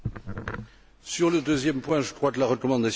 Sur le deuxième point, je crois que la recommandation y est.